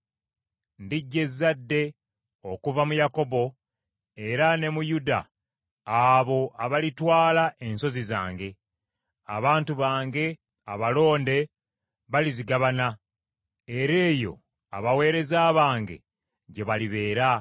Ndiggya ezzadde okuva mu Yakobo era ne mu Yuda abo abalitwala ensozi zange; abantu bange abalonde balizigabana, era eyo abaweereza bange gye balibeera.